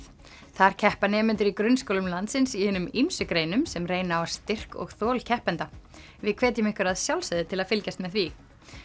þar keppa nemendur í grunnskólum landsins í hinum ýmsu greinum sem reyna á styrk og þol keppenda við hvetjum ykkur að sjálfsögðu til að fylgjast með því